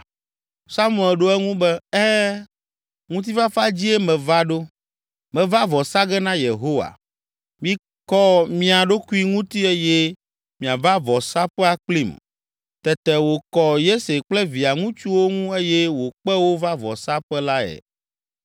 Samuel ɖo eŋu be, “Ɛ̃, ŋutifafa dzie meva ɖo; meva vɔ sa ge na Yehowa. Mikɔ mia ɖokui ŋuti eye miava vɔsaƒea kplim.” Tete wòkɔ Yese kple via ŋutsuwo ŋu eye wòkpe wo va vɔsaƒe lae.